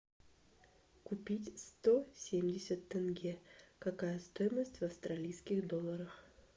купить сто семьдесят тенге какая стоимость в австралийских долларах